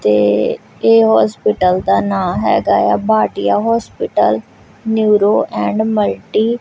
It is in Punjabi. ਤੇ ਇਹ ਹੌਸਪੀਟਲ ਦਾ ਨਾਂ ਹੈਗਾ ਏ ਆ Bhatia hospital neuro and multi --